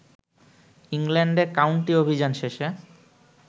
ইংল্যান্ডে কাউন্টি অভিযান শেষে